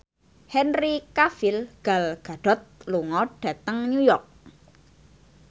Henry Cavill Gal Gadot lunga dhateng New York